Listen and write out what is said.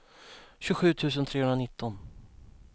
tjugosju tusen trehundranitton